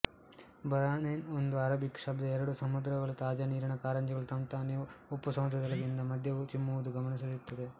Bahrain ಒಂದು Arabic ಶಬ್ಧ ಎರಡು ಸಮುದ್ರಗಳು ತಾಜಾ ನೀರಿನ ಕಾರಂಜಿಗಳು ತಂತಾನೆ ಉಪ್ಪುಸಮುದ್ರದೊಳಗಿಂದ ಮಧ್ಯೆ ಚಿಮ್ಮುವುದು ಗಮನಸೆಳೆಯುತ್ತದೆ